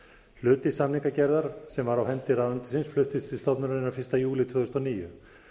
hluti samningagerðar sem var á hendi ráðuneytisins fluttist til stofnunarinnar fyrsta júlí tvö þúsund og níu